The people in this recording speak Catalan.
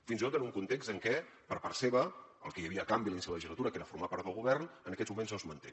fins i tot en un context en què per part seva el que hi havia a canvi a l’inici de legislatura que era formar part del govern en aquests moments no es manté